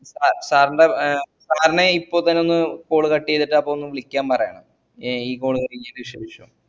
അഹ് sir ൻറെ ഏ sir നെ ഇപ്പോ തന്നെ ഒന്ന് call cut ചെയ്‌തിട് അപ്പൊ ഒന്ന് വിളിക്കാൻ പറേണം ഏ ഈ call കൈഞ്ഞേന് ശേഷം